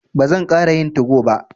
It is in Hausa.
Ba zan ƙara yin tugo ba.